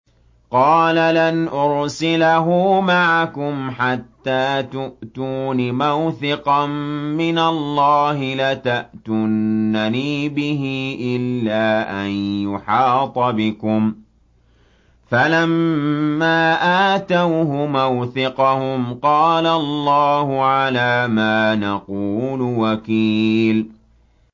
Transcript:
قَالَ لَنْ أُرْسِلَهُ مَعَكُمْ حَتَّىٰ تُؤْتُونِ مَوْثِقًا مِّنَ اللَّهِ لَتَأْتُنَّنِي بِهِ إِلَّا أَن يُحَاطَ بِكُمْ ۖ فَلَمَّا آتَوْهُ مَوْثِقَهُمْ قَالَ اللَّهُ عَلَىٰ مَا نَقُولُ وَكِيلٌ